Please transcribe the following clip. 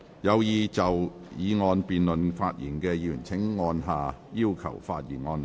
有意就議案辯論發言的議員請按下"要求發言"按鈕。